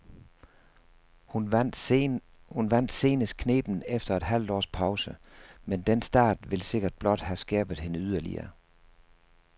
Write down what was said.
Hun vandt senest knebent efter et halvt års pause, men den start vil sikkert blot have skærpet hende yderligere.